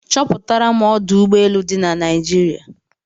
Chọpụtaram ọdụ ụgbọ elu ole di na Naịjirịa